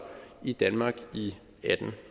i danmark i atten